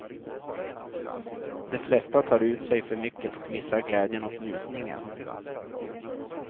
De flesta tar ut sig för mycket och missar glädjen och njutningen.